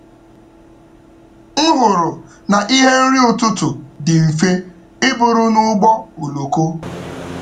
M hụrụ na ihe nri ụtụtụ dị mfe iburu n’ụgbọ oloko.